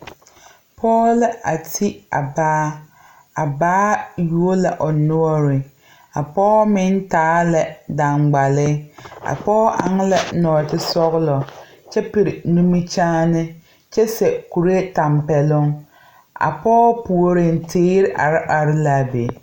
pɔge la a ti a baa a baa yuo la o noɔreŋ a pɔɔ meŋ taa la daŋkpale a pɔɔ eŋ la nɔɔte sɔgelɔ kyɛ piri nimikyaane kyɛ seɛ kuree tɛmpɛloŋ a pɔgɔ puori teere are are la a be